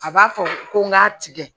A b'a fɔ ko n ka tigɛ